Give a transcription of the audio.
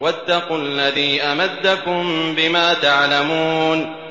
وَاتَّقُوا الَّذِي أَمَدَّكُم بِمَا تَعْلَمُونَ